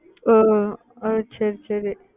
ஓஹ் ஓஹ் ஓஹ் சரி சரி